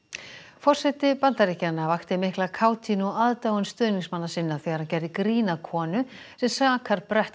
forseti Bandaríkjanna vakti mikla kátínu og aðdáun stuðningsmanna sinna þegar hann gerði grín að konu sem sakar brett